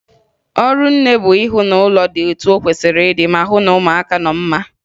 Ọrụ nne bụ ihụ na ụlọ dị etu o kwesiri ịdị, ma hụ na ụmụaka nọ mma